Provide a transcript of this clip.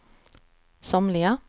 somliga